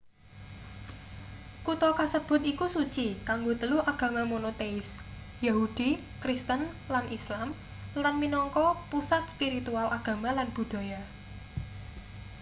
kutha kasebut iku suci kanggo telu agama monoteis yahudi kristen lan islam lan minangka pusat spiritual agama lan budhaya